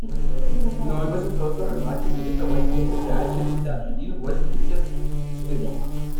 ноль восемьсот сорок два четыреста восемьдесят пять шестьдесят один восемьдесят четыре